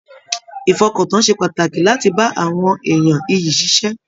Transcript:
Ìfọkàntán ṣe pàtàkì láti bá àwọn èèyàn ìyí ṣiṣẹ.